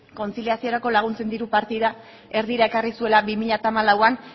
kontziliaziorako laguntzen diru partida erdira ekarri zuela bi mila hamalauan